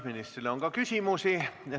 Ministrile on ka küsimusi.